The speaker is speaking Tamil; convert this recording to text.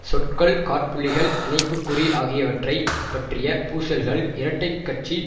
சொற்கள் காற்புள்ளிகள் இணைப்புக் குறி ஆகியவற்றை பற்றிய பூசல்கள் இரட்டை கட்சி